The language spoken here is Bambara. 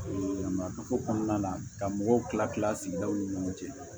marako kɔnɔna la ka mɔgɔw kila kila sigi daw ni ɲɔgɔn cɛ